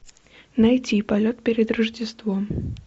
найти полет перед рождеством